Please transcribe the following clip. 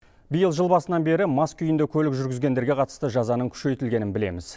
биыл жыл басынан бері мас күйінде көлік жүргізгендерге қатысты жазаның күшейтілгенін білеміз